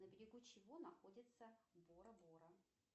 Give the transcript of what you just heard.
на берегу чего находится бора бора